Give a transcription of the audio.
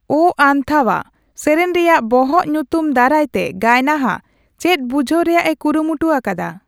'ᱳ ᱟᱱᱛᱟᱵᱷᱟ' ᱥᱮᱨᱮᱧ ᱨᱮᱭᱟᱜ ᱵᱚᱦᱚᱜ ᱧᱩᱛᱩᱢ ᱫᱟᱨᱟᱭᱛᱮ ᱜᱟᱭᱱᱟᱦᱟ ᱪᱮᱫ ᱵᱩᱡᱦᱟᱹᱣ ᱨᱮᱭᱟᱜ ᱮ ᱠᱩᱨᱩᱢᱩᱴᱩ ᱟᱠᱟᱫᱟ ᱾